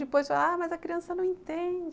Depois falaram, mas a criança não entende.